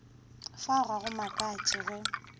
fao ga go makatše ge